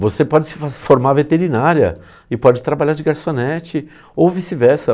Você pode se fo se formar veterinária e pode trabalhar de garçonete ou vice-versa.